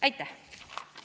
Aitäh!